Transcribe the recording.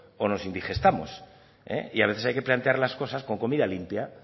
o nos indigestamos y a veces hay que plantear las cosas con comida limpia